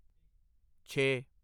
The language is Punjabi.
ਛੇ